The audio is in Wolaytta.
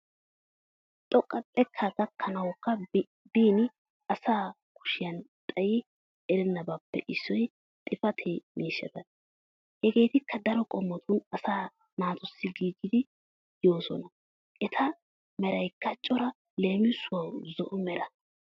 Xoqqa xeeka gakkanawuka biin asa kushiyan xaayi ereenabappe issoy xifaate miishshata. Hegetikka daro qomotun asa naatussi giggidi yo'oosona etta meraykka cora leemisuwawu zo'o mera.